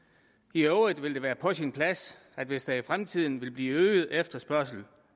i øvrigt vil det være på sin plads hvis der i fremtiden vil blive øget efterspørgsel